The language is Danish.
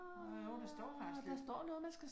Nåh jo, der står faktisk lidt